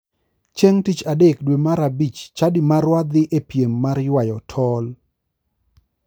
Chieng tich adek dwe mar a bich, chadi marwa dhi e piem mar ywayo tol.